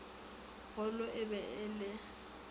golo e be e le